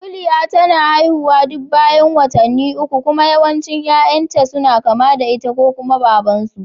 Kuliya tana haihuwa duk bayan watanni ukku kuma yawancin yayan ta suna kama da ita ko kuma Baban su